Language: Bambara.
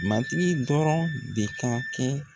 Matigi dɔrɔn de ka kɛ